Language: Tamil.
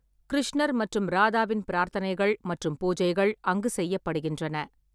கிருஷ்ணர் மற்றும் ராதாவின் பிரார்த்தனைகள் மற்றும் பூஜைகள் அங்கு செய்யப்படுகின்றன.